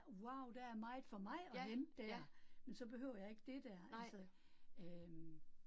Wow der er meget for mig at hente der, men så behøver jeg ikke det der altså øh